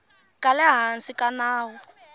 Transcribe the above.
ka le hansi ka nawu